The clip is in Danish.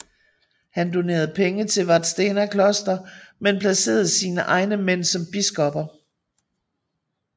Han donerede penge til Vadstena kloster men placerede sine egne mænd som biskopper